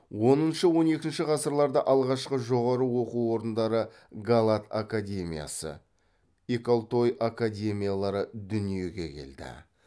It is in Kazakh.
оныншы он екінші ғасырларда алғашқы жоғары оқу орындары галат академиясы икалтой академиялары дүниеге келді